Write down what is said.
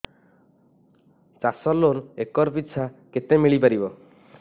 ଚାଷ loan acre ପିଛା କେତେ ମିଳି ପାରିବ